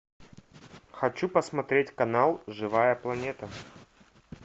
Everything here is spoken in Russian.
хочу посмотреть канал живая планета